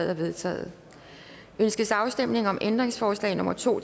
er vedtaget ønskes afstemning om ændringsforslag nummer to